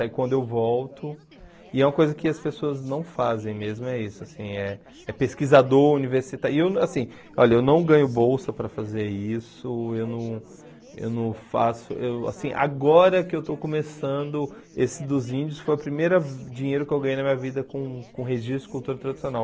Aí quando eu volto, e é uma coisa que as pessoas não fazem mesmo, é isso, assim, eh é pesquisador universitário, e eu assim, olha, eu não ganho bolsa para fazer isso, eu não eu não faço, eu assim, agora que eu estou começando, esse dos índios foi o primeira dinheiro que eu ganhei na minha vida com com registro de cultura tradicional.